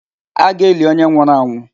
A ga-eli onye nwụrụ anwụ.